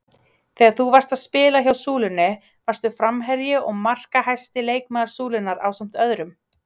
Þegar þú varst að spila hjá Súlunni varstu framherji og markahæsti leikmaður Súlunnar ásamt öðrum?